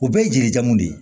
U bɛɛ ye jeli jamu de ye